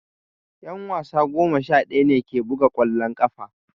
Yan wasa goma sha daya ne ke buga kwallon kafa